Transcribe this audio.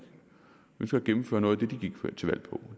fundet ud af at